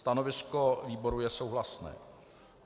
Stanovisko výboru je souhlasné.